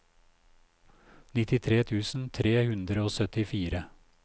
nittitre tusen tre hundre og syttifire